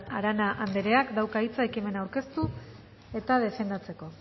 arana andereak dauka hitza ekimena aurkeztu eta defendatzeko